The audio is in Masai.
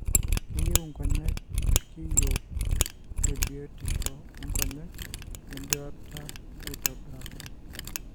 keyieu inkonyek ilkiyio tebiotisho onkonyek weduata aitobiraki.